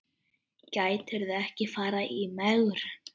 Gætirðu ekki farið í megrun?